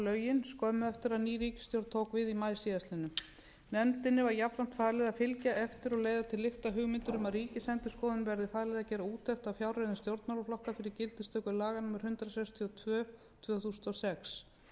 lögin skömmu eftir að ný ríkisstjórn tók við í maí síðastliðinn nefndinni var jafnframt talið að fylgja eftir og leiða til lykta hugmyndir um að ríkisendurskoðun verði falið að gera úttekt á fjárreiðum stjórnmálaflokka fyrir gildistöku laga númer hundrað sextíu og tvö tvö þúsund og sex